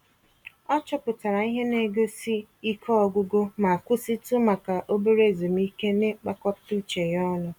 Ọ chọpụtara ihe negosi Ike ọgwụgwụ ma kwụsịtụ maka obere ezumike n'ịkpakọta uche ya ọnụ